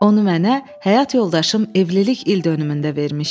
Onu mənə həyat yoldaşım evlilik ildönümündə vermişdi.